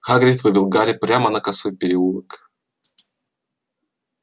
хагрид вывел гарри прямо на косой переулок